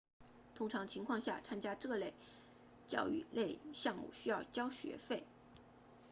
通常情况下参加这些教育类项目需要交学费